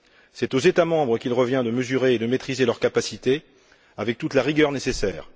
C'est aux États membres qu'il revient de mesurer et de maîtriser leur capacité, avec toute la rigueur nécessaire.